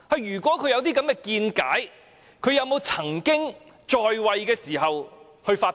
如果她有這種見解，她可曾於在位時發表？